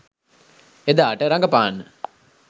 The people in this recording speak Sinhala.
එදාට රඟපාන්න